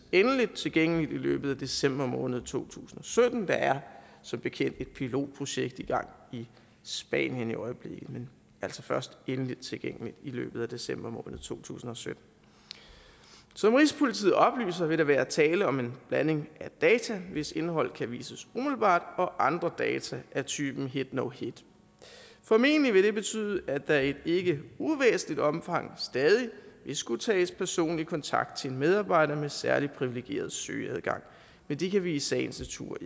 endeligt tilgængeligt i løbet af december måned to tusind og sytten der er som bekendt et pilotprojekt i gang i spanien i øjeblikket men det altså først og endeligt tilgængeligt i løbet af december måned to tusind og sytten som rigspolitiet oplyser vil der være tale om blanding af data hvis indhold kan vises umiddelbart og andre data af typen hit no hit formentlig vil det betyde at der i et ikke uvæsentligt omfang stadig vil skulle tages personlig kontakt til en medarbejder med særlig privilegeret søgeadgang men det kan vi i sagens natur